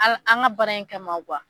A an ka baara in kama